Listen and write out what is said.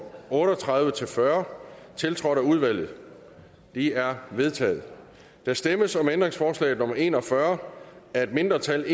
otte og tredive til fyrre tiltrådt af udvalget de er vedtaget der stemmes om ændringsforslag nummer en og fyrre af et mindretal